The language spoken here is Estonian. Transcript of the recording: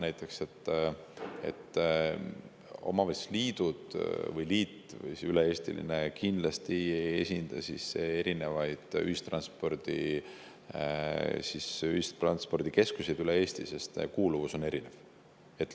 Näiteks üle-eestiline omavalitsusliit kindlasti ei esinda erinevaid ühistranspordikeskuseid üle Eesti, sest kuuluvus on erinev.